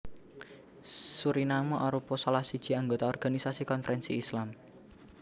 Suriname arupa salah siji anggota Organisasi Konferensi Islam